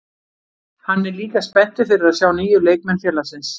Hann er líka spenntur fyrir að sjá nýju leikmenn félagsins.